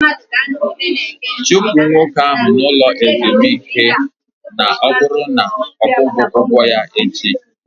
Chụpụ nwoke ahụ n'ụlọ ezumike na ọ bụrụ na ọ kwughi ụgwọ ya echi!